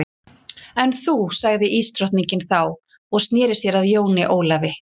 En þú sagði ísdrottningin þá og sneri sér að Jóni Ólafi.